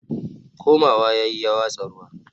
komawa yayi ya watsa ruwa